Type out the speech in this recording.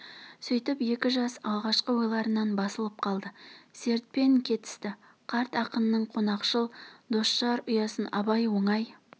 сүйтіп екі жас алғашқы ойларынан басылып қалды сертпен кетісті қарт ақынның қонақшыл досжар ұясын абай оңай